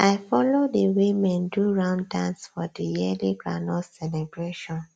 i follow the women do round dance for the yearly groundnut celebration